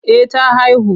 Eh ta haihu.